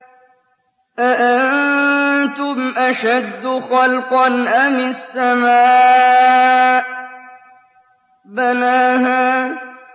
أَأَنتُمْ أَشَدُّ خَلْقًا أَمِ السَّمَاءُ ۚ بَنَاهَا